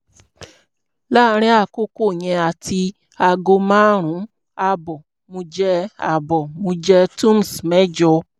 láàárín àkókò yẹn àti aago márùn-ún ààbọ̀ mo jẹ ààbọ̀ mo jẹ tums mẹ́jọ